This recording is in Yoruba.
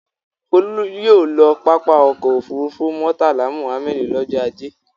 Folú yóò lọ pápá ọkọ̀-òfurufú Murtala Muhammad lọ́jọ́ ajé.